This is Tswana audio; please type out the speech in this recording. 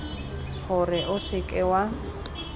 gore o se ka wa